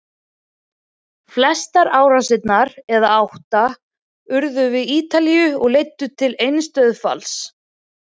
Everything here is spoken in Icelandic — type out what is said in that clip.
Flestar árásirnar, eða átta, urðu við Ítalíu og leiddu til eins dauðsfalls.